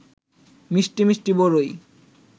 মিষ্টি মিষ্টি বরই